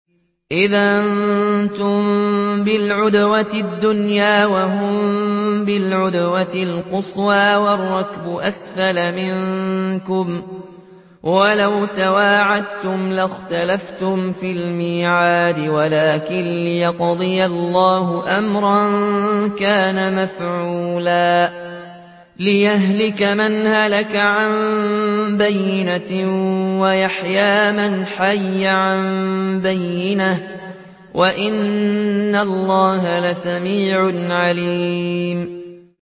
إِذْ أَنتُم بِالْعُدْوَةِ الدُّنْيَا وَهُم بِالْعُدْوَةِ الْقُصْوَىٰ وَالرَّكْبُ أَسْفَلَ مِنكُمْ ۚ وَلَوْ تَوَاعَدتُّمْ لَاخْتَلَفْتُمْ فِي الْمِيعَادِ ۙ وَلَٰكِن لِّيَقْضِيَ اللَّهُ أَمْرًا كَانَ مَفْعُولًا لِّيَهْلِكَ مَنْ هَلَكَ عَن بَيِّنَةٍ وَيَحْيَىٰ مَنْ حَيَّ عَن بَيِّنَةٍ ۗ وَإِنَّ اللَّهَ لَسَمِيعٌ عَلِيمٌ